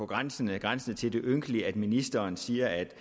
grænsende grænsende til det ynkelige at ministeren siger at det